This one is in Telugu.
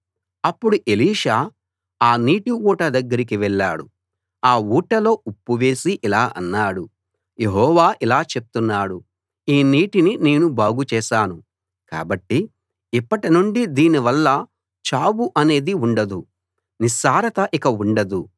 అప్పుడు ఎలీషా ఆ నీటి ఊట దగ్గరికి వెళ్ళాడు ఆ ఊటలో ఉప్పు వేసి ఇలా అన్నాడు యెహోవా ఇలా చెప్తున్నాడు ఈ నీటిని నేను బాగు చేశాను కాబట్టి ఇప్పటి నుండి దీని వల్ల చావు అనేది ఉండదు నిస్సారత ఇక ఉండదు